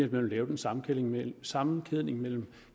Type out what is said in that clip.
vil lave en sammenkædning mellem sammenkædning mellem